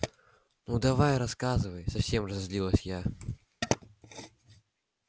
ну давай рассказывай совсем разозлилась я